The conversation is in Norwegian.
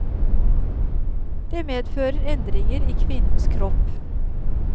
Det medfører endringer i kvinnens kropp.